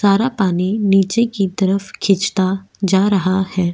सारा पानी नीचे की तरफ खींचता जा रहा है।